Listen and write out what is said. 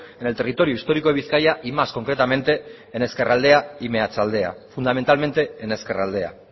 en el territorio histórico de bizkaia y más concretamente en ezkerraldea y meatzaldea fundamentalmente en ezkerraldea